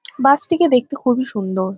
বাস -টিকে দেখতে খুবই সুন্দর।